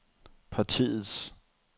partiets